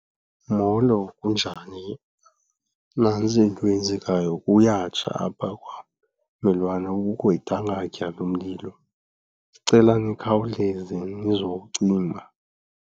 Molo, kunjani? Nantsi into eyenzekayo, kuyatsha apha kwammelwane, kukho idangatya lomlilo. Ndicela nikhawuleze nizowucima.